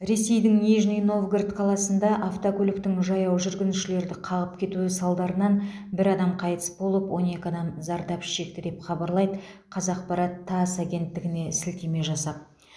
ресейдің нижний новгород қаласында автокөліктің жаяу жүргіншілерді қағып кетуі салдарынан бір адам қайтыс болып он екі адам зардап шекті деп хабарлайды қазақпарат тасс агенттігіне сілтеме жасап